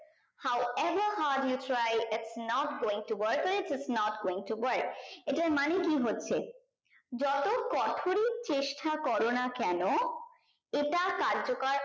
how ever hard you try is not going to worker is not going to work এটার মানে কি হচ্ছে যত কঠোরই চেষ্টা করোনা কেনো এটা কার্য কর